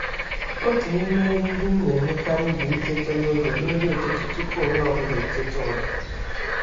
M na-edozi nri ụtụtụ m n’ime udo tupu onye ọ bụla eteta.